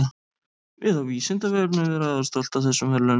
Við á Vísindavefnum erum afar stolt af þessum verðlaunum.